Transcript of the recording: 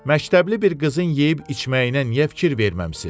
Məktəbli bir qızın yeyib-içməyinə niyə fikir verməmisiz?